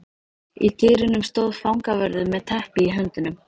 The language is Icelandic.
Í dyrunum stóð fangavörður með teppi í höndunum.